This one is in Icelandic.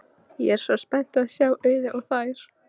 Ég er svo spennt að sjá Auði og þær.